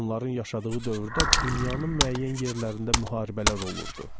Onların yaşadığı dövrdə dünyanın müəyyən yerlərində müharibələr olurdu.